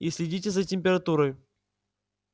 и следите за температурой